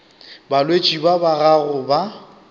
balwetši ba ba gago ba